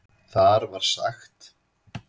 Þar var sagt